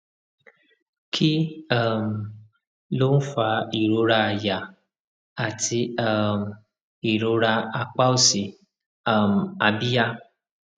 kí um ló ń fa ìrora àyà àti um ìrora apá òsì um abíyá